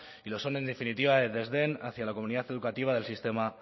y lo son en definitiva el desdén hacia la comunidad educativa del sistema